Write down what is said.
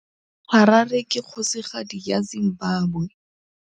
Harare ke kgosigadi ya Zimbabwe.